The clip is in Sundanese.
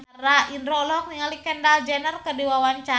Indro olohok ningali Kendall Jenner keur diwawancara